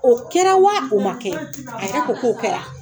O kɛra wa o ma kɛ ? a yɛrɛ ko k'o kɛra.